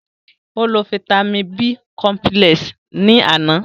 Ó lo fáítámì B cọmpílẹ̀s ni àná